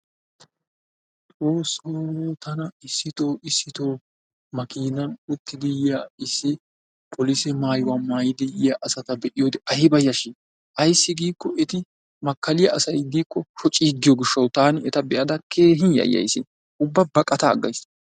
Xoossoo tana issittoo issiitoo, makiinan uttidi yiya issi polise maayuwa maayidi yiya asata be'iyoode ayba yashshii! Ayss giikko eti makaliya asay diikko shoccigiyo gishshawu taani eta be'ada keehin yayaysi. Ubba baqatta aggayssi.